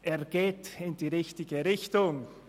Er geht in die richtige Richtung.